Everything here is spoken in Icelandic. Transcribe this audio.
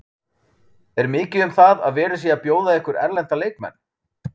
Er mikið um það að verið sé að bjóða ykkur erlenda leikmenn?